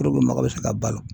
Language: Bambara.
Puruke mɔgɔ bɛ se ka balo